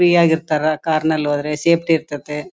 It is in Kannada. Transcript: ಹ್ಯಾಪಿ ಯಾಗಿ ಇರ್ತ್ತರ ಕಾರ್ ನಲ್ಲಿ ಹೋದ್ರೆ ಸೇಫ್ಟಿ ಇರ್ತಾತ್ತೆ.